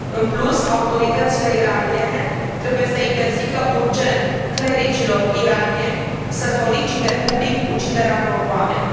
În plus, autoritățile iraniene trebuie să interzică urgent clericilor iranieni să solicite public uciderea unor oameni.